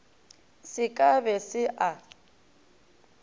se ka be se a